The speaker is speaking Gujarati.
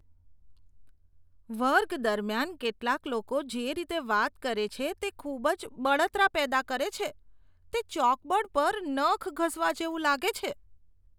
વર્ગ દરમિયાન કેટલાક લોકો જે રીતે વાત કરે છે તે ખૂબ જ બળતરા પેદા કરે છે, તે ચોકબોર્ડ પર નખ ઘસવા જેવું લાગે છે.